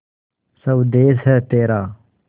स्वदेस है तेरा